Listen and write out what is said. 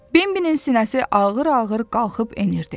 Benbinin sinəsi ağır-ağır qalxıb enirdi.